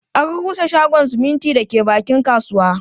An rusa shagon siminti da ke bakin kasuwa